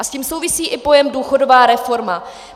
A s tím souvisí i pojem důchodová reforma.